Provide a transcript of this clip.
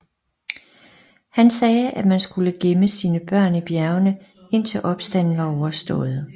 Han sagde at man skulle gemme sine børn i bjergene indtil opstanden var overstået